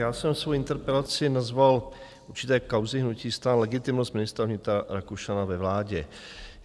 Já jsem svou interpelaci nazval určité kauzy hnutí STAN - Legitimnost ministra vnitra Rakušana ve vládě.